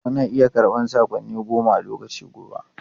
Ana iya karɓan saƙonni goma a lokaci guda.